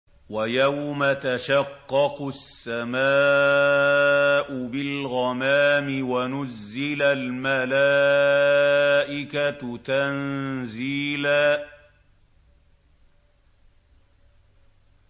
وَيَوْمَ تَشَقَّقُ السَّمَاءُ بِالْغَمَامِ وَنُزِّلَ الْمَلَائِكَةُ تَنزِيلًا